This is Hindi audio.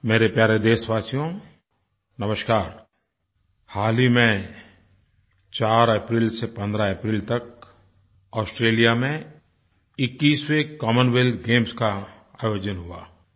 मेरे प्यारे देशवासियो नमस्कार हाल ही में 4 अप्रैल से 15 अप्रैल तक ऑस्ट्रेलिया में 21वें कॉमनवेल्थ गेम्स का आयोजन हुआ